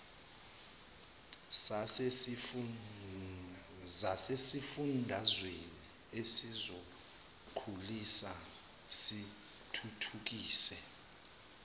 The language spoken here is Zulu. zasesifundazweni ezizokusiza zithuthukise